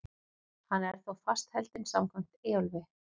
Hann er þó fastheldinn samkvæmt Eyjólfi.